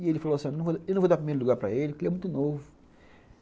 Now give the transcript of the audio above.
E ele falou assim, eu não vou dar primeiro lugar para ele, porque ele é muito novo.